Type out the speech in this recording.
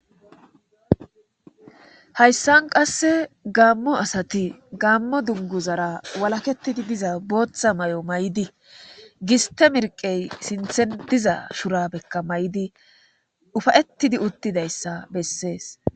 Hayssan qasse gaammo asati gaammo dungu zara walaketidi diza booththa may'o may'di giste mirqey sinthen diza shura bekka may'di ufayettidi uttidayssa bessees